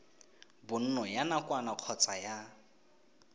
bonno ya nakwana kgotsa ya